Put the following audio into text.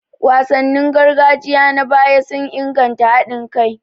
Wasannin gargajiya na baya sun inganta haɗin kai.